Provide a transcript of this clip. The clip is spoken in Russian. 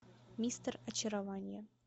мистер очарование